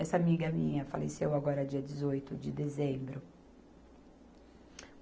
Essa amiga minha faleceu agora, dia dezoito de dezembro.